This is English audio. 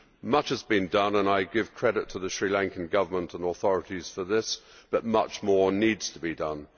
Much has been done and I give credit to the Sri Lankan Government and authorities for this, but much more needs to be done.